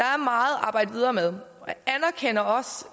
arbejde videre med